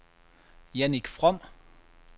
Jannik From